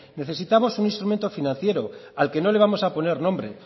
necesitamos un instrumento financiero al que no le vamos a poner nombre